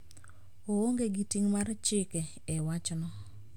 Oonge gi ting` mar chike e wachno